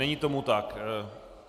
Není tomu tak.